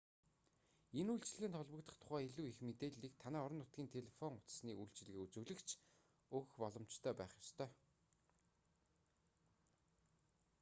энэ үйлчилгээнд холбогдох тухай илүү их мэдээллийг танай орон нутгийн телефон утасны үйлчилгээ үзүүлэгч өгөх боломжтой байх ёстой